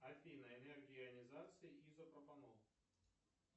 афина энергия ионизации изопропанол